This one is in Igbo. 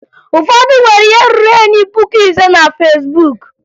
Ụfọdụ nwere ihe ruru enyi puku ise na Fesbuk